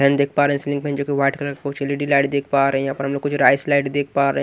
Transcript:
fan देख पा रहे हैं सीलिंग फैन जो कि वाइट कलर कुछ एल_ई_डी लाइट देख पा रहे हैं यहां पर हम लोग कुछ राइस लाइट देख पा रहे --